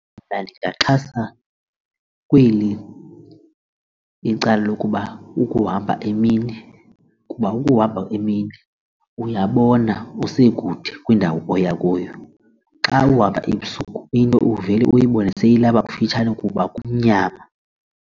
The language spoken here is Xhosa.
Mna ndingaxhasa kweli icala lokuba ukuhamba emini kuba ukuhamba emini uyabona kusekude kwindawo oya kuyo. Xa uhamba ebusuku into uvele uyibone seyilapha kufitshane kuba kumnyama.